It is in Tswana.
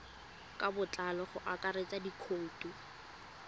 ka botlalo go akaretsa dikhoutu